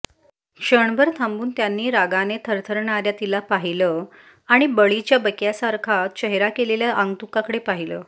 क्षणभर थांबून त्यांनी रागाने थरथरणाया तिला पाहील आणि बळीच्या बकयासारखा चेहरा केलेल्या आगंतुकाकडे पाहीलं